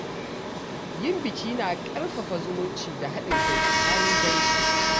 Yin biki na ƙarfafa zumunci da haɗin kai tsakanin dangi.